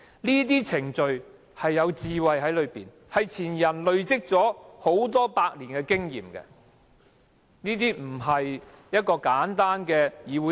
這些程序背後有其智慧，是前人累積下來的數百年經驗，不是簡單的議會程序。